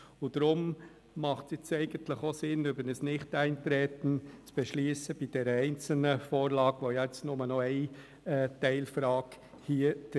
Deshalb macht es nun Sinn, über ein Nichteintreten bezüglich dieser einen Teilfrage zu beschliessen.